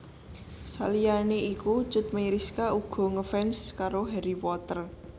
Saliyané iku Cut Meyriska uga ngefans karo Harry Potter